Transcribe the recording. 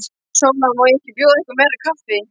SÓLA: Má ekki bjóða ykkur meira kaffi?